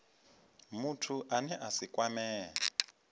muthu ane a si kwamee